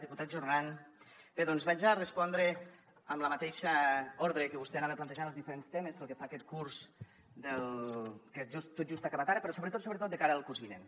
diputat jordan bé doncs respondré amb el mateix ordre amb què vostè anava plantejant els diferents temes pel que fa a aquest curs que tot just ha acabat ara però sobretot sobretot de cara al curs vinent